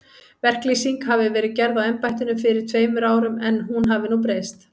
Verklýsing hafi verið gerð á embættinu fyrir tveimur árum, en hún hafi nú breyst.